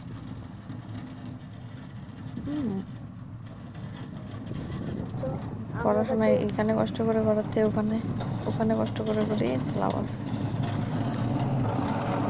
উম তো পড়াশোনা এই খানে কষ্ট করে করার চেয়ে ওখানে ওখানে কষ্ট করে করি তো লাভ আছে,